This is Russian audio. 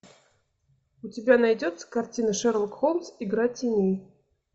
у тебя найдется картина шерлок холмс игра теней